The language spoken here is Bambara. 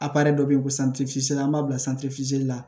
dɔ be yen ko an b'a bila la